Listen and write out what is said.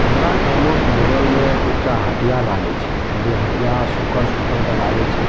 हमरा गांमो के बगल में एकटा हटिया लागे छे जे हटिया सुकर-सुकर के लागय छे।